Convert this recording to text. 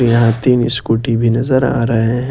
यहां तीन स्कूटी भी नजर आ रहे हैं।